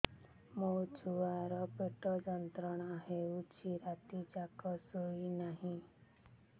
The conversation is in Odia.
ମୋ ଛୁଆର ପେଟ ଯନ୍ତ୍ରଣା ହେଉଛି ରାତି ଯାକ ଶୋଇନାହିଁ